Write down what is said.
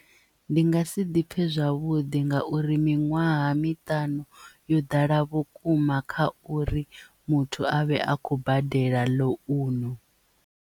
Ndi nga si ḓipfhe zwavhuḓi ngauri miṅwaha miṱanu yo ḓala vhukuma kha uri muthu avhe a khou badela ḽounu.